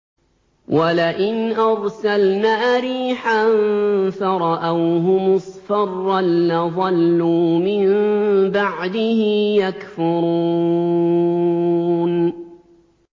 وَلَئِنْ أَرْسَلْنَا رِيحًا فَرَأَوْهُ مُصْفَرًّا لَّظَلُّوا مِن بَعْدِهِ يَكْفُرُونَ